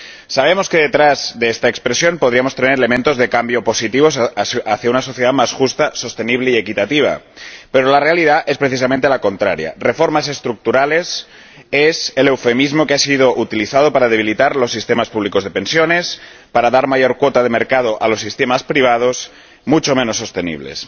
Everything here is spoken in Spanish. Sabemos que detrás de esta expresión podríamos tener elementos de cambio positivos hacia una sociedad más justa, sostenible y equitativa, pero la realidad es precisamente la contraria reformas estructurales es el eufemismo que ha sido utilizado para debilitar los sistemas públicos de pensiones, para dar mayor cuota de mercado a los sistemas privados, mucho menos sostenibles.